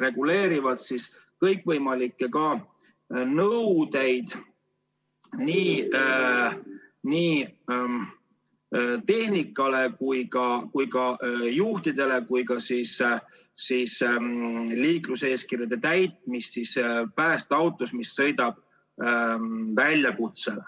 reguleerivad kõikvõimalikke nõudeid nii tehnikale kui ka juhtidele, samuti liikluseeskirja täitmist päästeautos, mis sõidab väljakutsele.